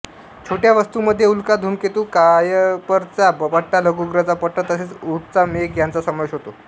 छोट्या वस्तूंमध्ये उल्का धूमकेतू कायपरचा पट्टा लघुग्रहांचा पट्टा तसेच ऊर्टचा मेघ यांचा समावेश होतो